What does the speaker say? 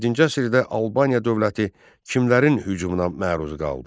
Yeddinci əsrdə Albaniya dövləti kimlərin hücumuna məruz qaldı?